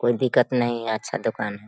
कोई दिक्कत नहीं अच्छा दुकान है।